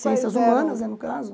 Ciências humanas, né no caso.